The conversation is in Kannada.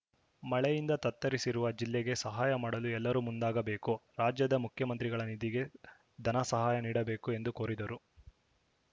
ಮಳೆಯಿಂದ ತತ್ತರಿಸಿರುವ ಜಿಲ್ಲೆಗೆ ಸಹಾಯ ಮಾಡಲು ಎಲ್ಲರೂ ಮುಂದಾಗಬೇಕು ರಾಜ್ಯದ ಮುಖ್ಯಮಂತ್ರಿಗಳ ನಿಧಿಗೆ ಧನ ಸಹಾಯ ನೀಡಬೇಕು ಎಂದು ಕೋರಿದರು